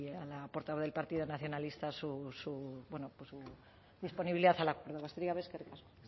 a la portavoz del partido nacionalista su disponibilidad a la hora eskerrik asko